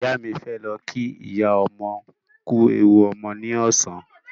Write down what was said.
Ìyá mi fẹ́ lọ kí ìyá ọmọ kú ewu ọmọ ní ọ̀sán